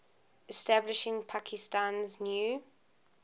establishing pakistan's new